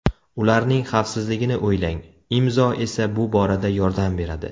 Ularning xavfsizligini o‘ylang, Imzo esa bu borada yordam beradi!